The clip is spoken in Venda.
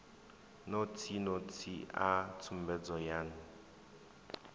notsi notsi a tsumbedzo yan